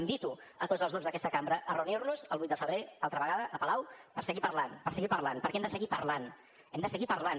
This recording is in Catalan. invito tots els grups d’aquesta cambra a reunir nos el vuit de febrer altra vegada a palau per seguir parlant per seguir parlant perquè hem de seguir parlant hem de seguir parlant